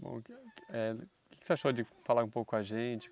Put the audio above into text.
Bom, eh o que que você achou de falar um pouco com a gente?